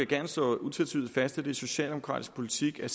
gerne slå utvetydigt fast at det er socialdemokratisk politik at